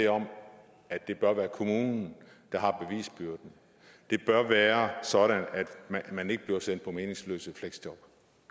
om at det bør være kommunen der har bevisbyrden det bør være sådan at man ikke bliver sendt ud i meningsløse fleksjob